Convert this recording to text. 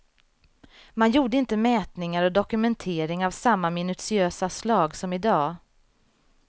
Man gjorde inte mätningar och dokumentering av samma minutiösa slag som i dag.